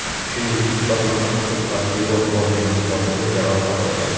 Shuningdek, bir nafar huquq-tartibot organi xodimi jarohat olgan.